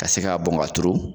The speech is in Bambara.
Ka se ka bɔn ka turu .